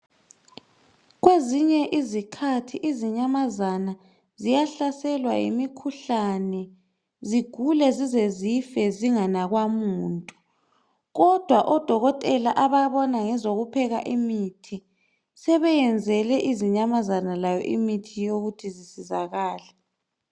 Kwezinye izikhathi izinyamazana ziyahlaselwa yimikhuhlane, zigule zize zife zinganakwa muntu. Kodwa ododkotela ababona ngezokupheka imithi sebeyenzele izinyamazana lazo imithi yokuthi zisizakale.